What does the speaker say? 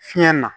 Fiɲɛ na